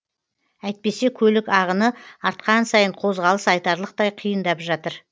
әйтпесе көлік ағыны артқан сайын қозғалыс айтарлықтай қиындап жатыр